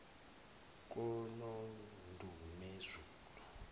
konondumezulu